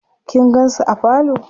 kin gansu a parlor?